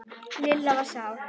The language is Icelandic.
Lilla var sár.